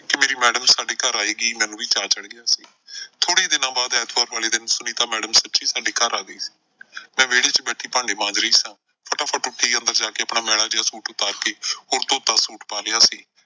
ਕਿ ਮੇਰੀ ਮੈਡਮ ਸਾਡੇ ਘਰ ਆਏਗੀ ਮੈਨੂੰ ਵੀ ਚਾਅ ਚੜ੍ਹ ਗਿਆ। ਥੋੜੇ ਈ ਦਿਨਾਂ ਬਾਅਦ ਐਤਵਾਰ ਵਾਲੇ ਦਿਨ ਸੁਨੀਤਾ ਮੈਡਮ ਸੱਚੀ ਸਾਡੇ ਘਰ ਆ ਗਏ ਮੈਂ ਵਿਹੜੇ ਵਿਚ ਬੈਠੀ ਭਾਂਡੇ ਮਾਂਜ ਰਹੀ ਸਾਂ। ਫਟਾਫਟ ਉੱਠੀ ਅੰਦਰ ਜਾ ਕੇ ਆਪਣਾ ਮੈਲਾ ਜਿਹਾ ਸੂਟ ਉਤਾਰ ਕੇ . ਸੂਟ ਪਾ ਲਿਆ ਸੀ।